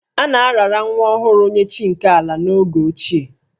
A na-arara nwa ọhụrụ nye chi nke ala n'oge ochie